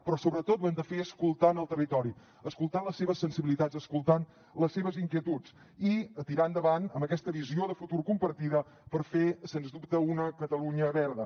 però sobretot ho hem de fer escoltant el territori escoltant les seves sensibilitats escoltant les seves inquietuds i tirar endavant amb aquesta visió de futur compartida per fer sens dubte una catalunya verda